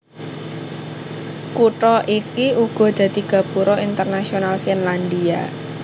Kutha iki uga dadi gapura internasional Finlandia